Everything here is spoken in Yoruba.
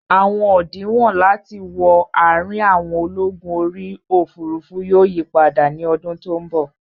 Àwọn òdinwọ̀n láti wọ àrin àwọn ológun orí òfurufú yóò yípadà ní ọdún tí ó bọ̀